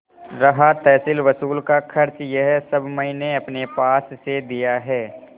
रहा तहसीलवसूल का खर्च यह सब मैंने अपने पास से दिया है